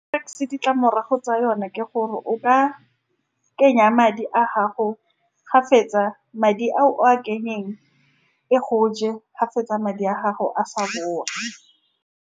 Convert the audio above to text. Ditlamorago tsa yone ke gore o ka kenya madi a gago. Fa o fetsa madi a o a , e go je. Fa o fetsa madi a gago, ga sa boa.